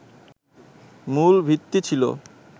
মূল ভিত্তি ছিল